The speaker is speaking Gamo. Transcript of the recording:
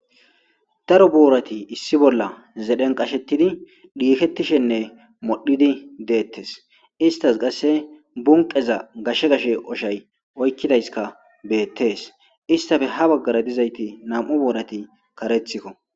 daro boorati issi bolla zedhen qashetidi dhiiketishenne modhidi deettes istas qasse bunqeza gashshe gashe oshay oykkidayska beettees istafe ha baggara dizayti nam7u boorati karethikko